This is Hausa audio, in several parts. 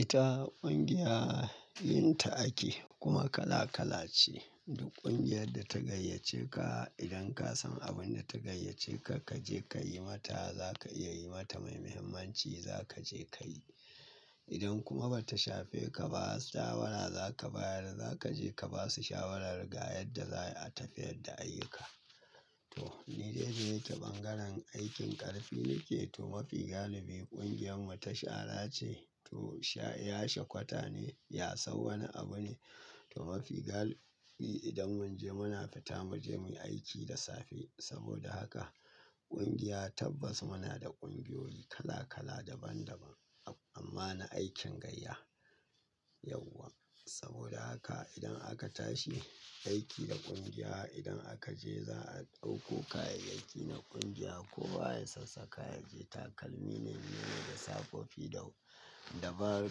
Ita ƙungiya, yin ta ake kuma kala kala ce. Duk ƙungiyar da ta gayyace ka, idan ka san abin da ta gayyace ka, ka je ka yi mata, za ka iya yi mata mai muhimmanci, za ka je ka yi. Idan kuma ba ta shafe ka ba, shawara za ka bayar. Za ka je ka ba su shawarar ga yadda za a tafiyar da ayyuka. To, ni dai je ta bangaren aikin ƙarfi nike. To, mafi galibi ƙungiyar mu ta shara ce. To, sha ya shekwata ne, ya sar wani abu ne. To, mafi galibi idan mun je muna fita mu je muyi aiki da safe. Saboda haka ƙungiya tabbas muna da ƙungiyoyi kala kala daban daban amma na aikin gayya yauwa. Saboda haka idan aka tashi aiki da ƙungiya, idan aka je za a ɗauko kayayyaki na ƙungiya. Ko ba ya sassaƙa ya je. Takalmi ne, miyo da safofi dau dabaru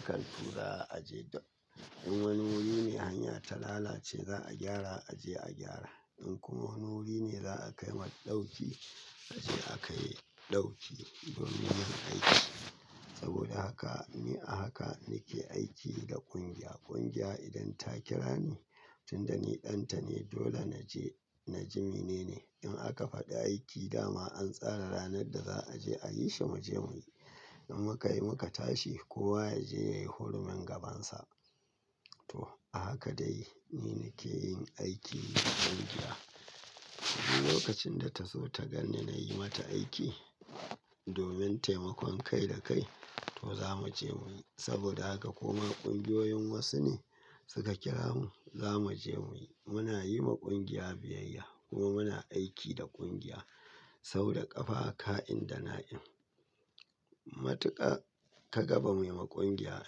kaltura a je da. In wani wuri ne hanya ta lalace za a gyara, a je a gyara. In kuma wani wuri ne za a kai mar ɗauki, a je a kai ɗauki domin yin aiki. Saboda haka, ni a haka nake aiki da ƙungiya. Ƙungiya idan ta kira ni, tunda ni ɗan ta ne dole na je. Na jime ne ne. In aka faɗi aiki dama an tsara ranar da za a je, a yi shi mu je muyi. In muka yi muka tashi kowa ya je ya yi hurumin gabansa. To, a haka dai ni nake yin aiki da ƙungiya. Lokacin da ta zo ta ganni nayi mata aiki domin taimakon kai da kai, to za mu je muyi. Saboda haka kuma ƙungiyoyin wasu ne suka kira mu, za mu je muyi. Muna yi wa ƙungiya biyayya kuma muna aiki da ƙungiya sau da ƙafa, ka'in da na'in. Matuƙa ka ga ba mu yi ma ƙungiya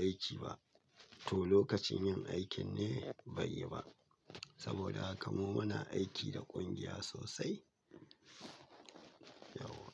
aiki ba? To, lokacin yin aikin ne bai yi ba. Saboda haka mu muna aiki da ƙungiya sosai, yauwa.